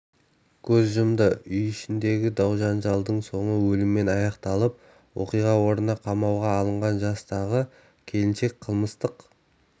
көз жұмды үй ішіндегі дау-жанжалдың соңы өліммен аяқталып оқиға орнында қамауға алынған жастағы келіншек қылмыстық